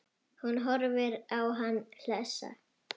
Hún horfir á hann hlessa.